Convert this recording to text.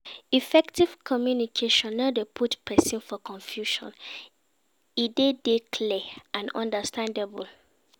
Effective communication no de put persin for confusion e de dey clear and understandable